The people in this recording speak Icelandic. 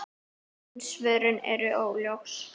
En svörin eru óljós.